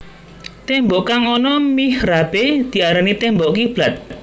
Témbok kang ana mihrabé diarani témbok kiblat